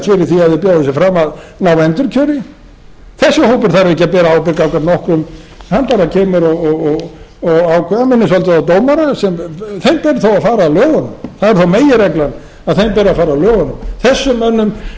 sig fram að ná endurkjöri þessi hópur þarf ekki að bera ábyrgð gagnvart nokkrum hann bara kemur og ákveður hann minnir svolítið á dómara þeim ber þó að fara að lögunum það er þó meginreglan að þeim ber að fara að lögunum þessum mönnum ber bara